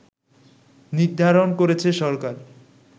নির্ধারণ করেছে সরকার